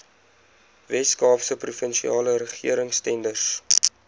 weskaapse provinsiale regeringstenders